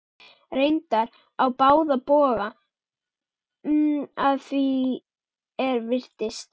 Reyndar á báða bóga að því er virtist.